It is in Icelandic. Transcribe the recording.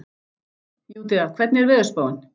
Júdea, hvernig er veðurspáin?